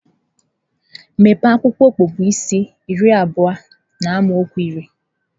Mepee akwụkwọ Ọpụpụ isi iri abụọ n’amaokwu iri.